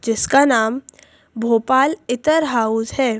जिसका नाम भोपाल इतर हाउस है।